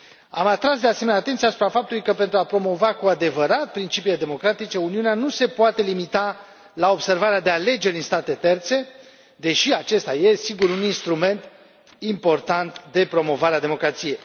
Am atras, de asemenea, atenția asupra faptului că, pentru a promova cu adevărat principiile democratice, Uniunea nu se poate limita la observarea de alegeri în state terțe, deși acesta e, sigur, un instrument important de promovare a democrației.